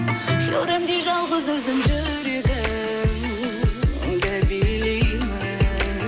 хюремдей жалғыз өзім жүрегіңді билеймін